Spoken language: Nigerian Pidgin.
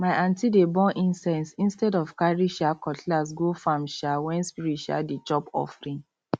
my aunty dey burn incense instead of carry um cutlass go farm um when spirit um dey chop offering